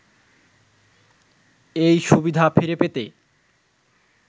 এই সুবিধা ফিরে পেতে